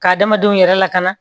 Ka adamadenw yɛrɛ lakana